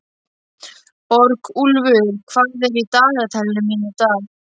Borgúlfur, hvað er í dagatalinu mínu í dag?